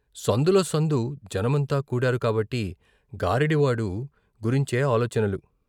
సందులో సందు జనమంతా కూడారు కాబట్టి గారడీవాడు గురించే ఆలోచనలు.